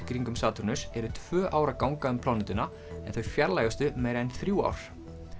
kringum Satúrnus eru tvö ár að ganga um plánetuna en þau fjarlægustu meira en þrjú ár